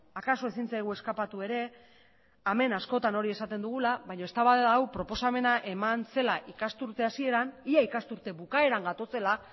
akaso ezin zaigu eskapatu ere hemen askotan hori esaten dugula baino eztabaida hau proposamena eman zela ikasturte hasieran ia ikasturte bukaeran gatozela